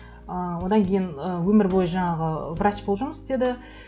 ы одан кейін ы өмір бойы жаңағы врач болып жұмыс істеді